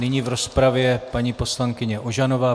Nyní v rozpravě paní poslankyně Ožanová.